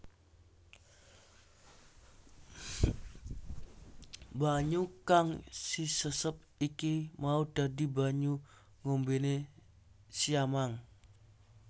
Banyu kang sisesep iki mau dadi banyu ngombene siamang